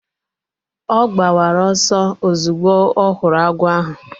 Ọ gbawara ọsọ ozugbo ọ hụrụ agwọ ahụ